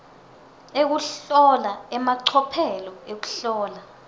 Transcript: ekuhlola emacophelo ekuhlola